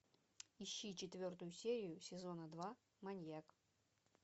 ищи четвертую серию сезона два маньяк